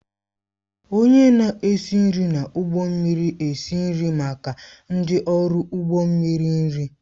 Onye na-esi nri n'ụgbọ mmiri esi nri maka ndị ọrụ ụgbọ mmiri nri.